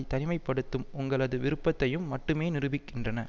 தனிமை படுத்தும் உங்களது விருப்பத்தையும் மட்டுமே நிரூபிக்கின்றன